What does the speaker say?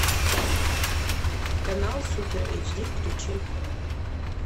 канал супер эйч ди включи